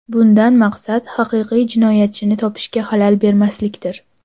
Bundan maqsad haqiqiy jinoyatchini topishga xalal bermaslikdir.